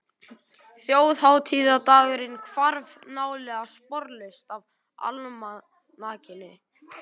Þjóðhátíðardagurinn hvarf nálega sporlaust af almanakinu.